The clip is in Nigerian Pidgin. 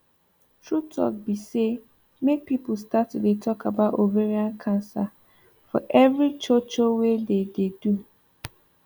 true talk be say make people start to dey talk about ovarian cancer for every cho cho wey dey dey do